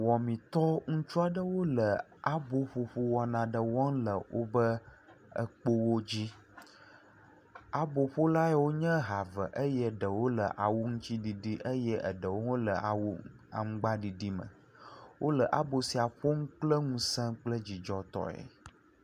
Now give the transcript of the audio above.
Wɔmitɔ, ŋutsu aɖewo le aboƒoƒo wɔna aɖe wɔm le wobe kpowodzi. Aboƒolawo yawo nye ha eve eye ɖewo le awu ŋutsiɖiɖi eye eɖewo hã wole awu aŋgbaɖiɖime. Wole abo sia ƒom kpleŋusẽ kple dzidzɔtɔe.